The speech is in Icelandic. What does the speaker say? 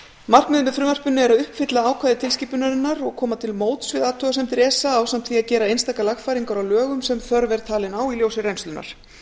markmiðið með frumvarpinu er að uppfylla ákvæði tilskipunarinnar og koma til móts við athugasemdir esa ásamt því að gera einstakar lagfæringar á lög um sem þörf er talin á í ljósi reynslunnar